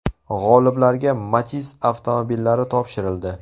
G‘oliblarga Matiz avtomobillari topshirildi.